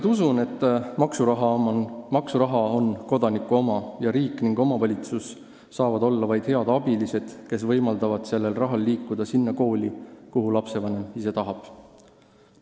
Ma usun siiralt, et maksuraha on kodaniku oma ning riik ja omavalitsus saavad olla vaid head abilised, kes võimaldavad sellel rahal liikuda sinna kooli, mida lapsevanem ise eelistab.